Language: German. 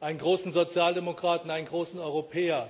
einen großen Sozialdemokraten, einen großen Europäer.